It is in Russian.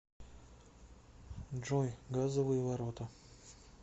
джой газовые ворота